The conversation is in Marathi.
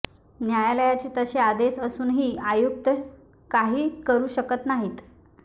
न्यायालयाचे तसे आदेश असूनही आयुक्त काही करू शकत नाहीत